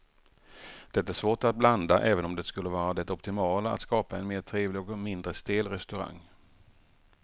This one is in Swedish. Det är svårt att blanda även om det skulle vara det optimala att skapa en mer trevlig och mindre stel restaurang.